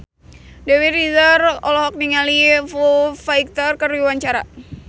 Dewi Rezer olohok ningali Foo Fighter keur diwawancara